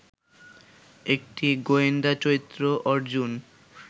একটি গোয়েন্দা চরিত্র অর্জুন